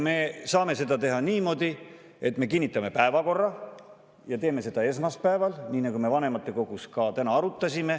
Me saame seda teha niimoodi, et me kinnitame päevakorra ja teeme seda esmaspäeval, nii nagu me vanematekogus ka täna arutasime.